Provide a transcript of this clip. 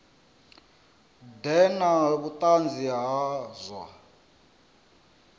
ḓe na vhuṱanzi ha zwa